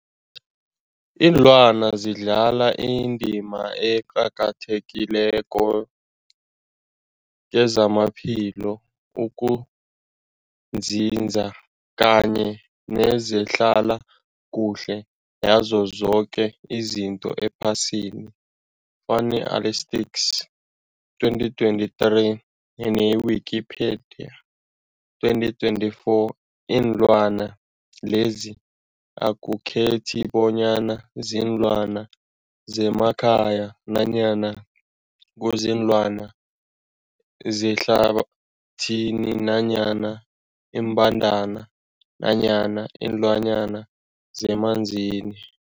Ilwana zidlala indima eqakathekileko kezamaphilo, ukunzinza kanye nezehlala kuhle yazo zoke izinto ephasini, Fuanalytics 2023, ne-Wikipedia 2024. Iinlwana lezi akukhethi bonyana ziinlwana zemakhaya nanyana kuziinlwana zehlathini nanyana iimbandana nanyana iinlwana zemanzini.